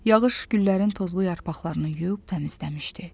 Yağış güllərin tozlu yarpaqlarını yuyub təmizləmişdi.